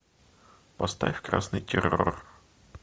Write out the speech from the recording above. поставь красный террор